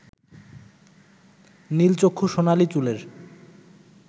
নীলচক্ষু সোনালী চুলের